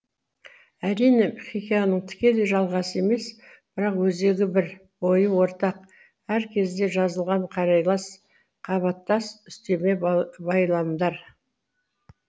әрине хикаяның тікелей жалғасы емес бірақ өзегі бір ойы ортақ әр кезде жазылған қарайлас қабаттас үстеме байламдар